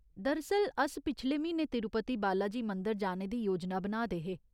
दरअसल, अस पिछले म्हीने तिरुपति बालाजी मंदर जाने दी योजना बना दे हे।